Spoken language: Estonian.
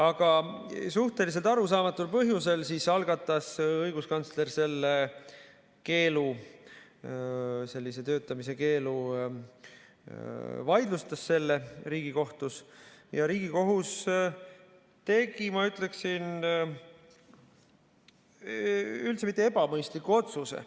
Aga suhteliselt arusaamatul põhjusel õiguskantsler sellise töötamise keelu Riigikohtus vaidlustas ja Riigikohus tegi, ma ütleksin, üldse mitte ebamõistliku otsuse.